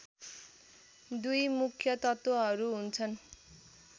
दुई मुख्य तत्त्वहरू हुन्छन्